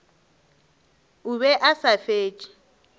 o be a sa fetše